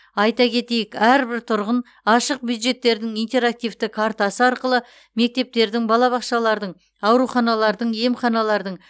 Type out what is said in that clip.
айта кетейік әрбір тұрғын ашық бюджеттердің интерактивті картасы арқылы мектептердің балабақшалардың ауруханалардың емханалардың